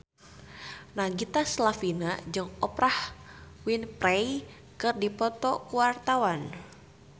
Nagita Slavina jeung Oprah Winfrey keur dipoto ku wartawan